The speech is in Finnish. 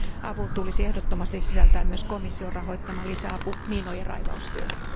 Avun tulisi ehdottomasti sisältää myös komission rahoittama lisäapu miinojen raivaustyöhön.